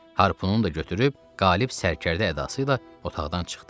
Harpunu da götürüb qalib sərkərdə ədasıyla otaqdan çıxdı.